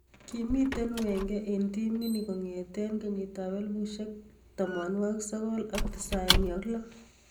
Kimi ten wenger en timinit kongeten 1996.